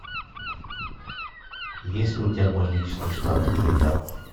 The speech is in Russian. есть ли у тебя мой личный штат айдахо